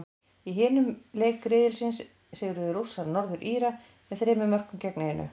Í hinum leik riðilsins sigruðu Rússar, Norður Íra, með þremur mörkum gegn einu.